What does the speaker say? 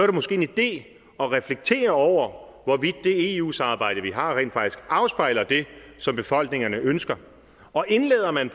det måske en idé at reflektere over hvorvidt det eu samarbejde vi har rent faktisk afspejler det som befolkningerne ønsker og indlader man